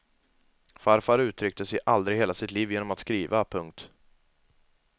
Farfar uttryckte sig aldrig i hela sitt liv genom att skriva. punkt